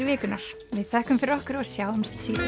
vikunnar við þökkum fyrir okkur og sjáumst síðar